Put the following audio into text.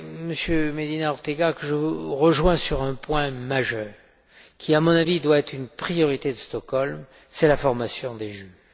Monsieur Medina Ortega, que je vous rejoins sur un point majeur, qui, à mon avis, doit être une priorité de Stockholm c'est la formation des juges.